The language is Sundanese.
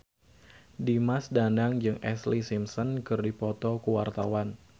Dimas Danang jeung Ashlee Simpson keur dipoto ku wartawan